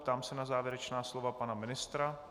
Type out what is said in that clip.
Ptám se na závěrečná slova pana ministra.